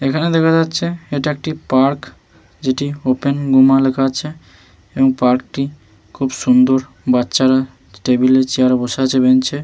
এখানে দেখা যাচ্ছে এটা একটি পার্ক যেটি ওপেন য়ুমা লেখা আছে এবং পার্ক টি খুব সুন্দর বাচ্চারা টেবিলে চেয়ারে বসে আছে বেঞ্চে --